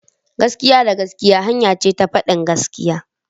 Gaskiya da gaskiya hanya ce ta fadin gaskiya.